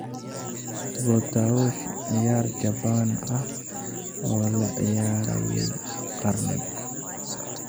Botaoshi, ciyaar Jabbaan ah oo la ciyaarayey qarni.